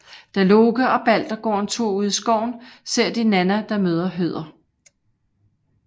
Da Loke og Balder går en tur ude i skoven ser de Nanna der møder Høder